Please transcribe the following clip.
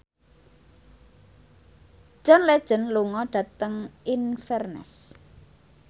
John Legend lunga dhateng Inverness